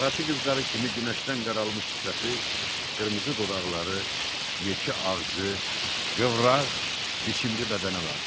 Qaraçı qızları kimi günəşdən qaralmış sifəti, qırmızı dodaqları, yekə ağzı, qıvraq, biçimli bədəni vardı.